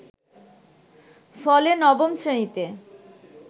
ফলে নবম শ্রেণীতে